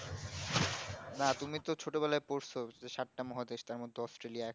তুমি তো ছোট বেলায় পড়ছো সাতটা মহাদেশ তার মধ্যে অস্ট্রলিয়া একটি